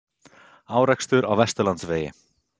Árekstur á Vesturlandsvegi